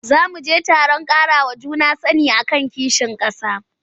Za mu je taron ƙarawa juna sani a kan kishin ƙasa.